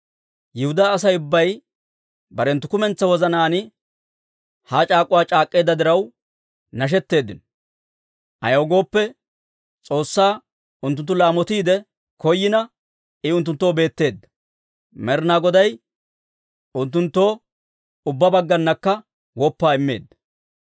Yihudaa Asay ubbay barenttu kumentsaa wozanaan ha c'aak'uwaa c'aak'k'eedda diraw, nashetteeddino. Ayaw gooppe, S'oossaa unttunttu laamotiide koyina, I unttunttoo beetteedda. Med'inaa Goday unttunttoo ubbaa baggaanakka woppaa immeedda.